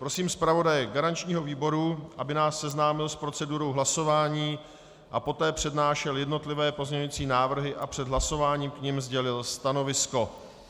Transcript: Prosím zpravodaje garančního výboru, aby nás seznámil s procedurou hlasování a poté přednášel jednotlivé pozměňovací návrhy a před hlasováním k nim sdělil stanovisko.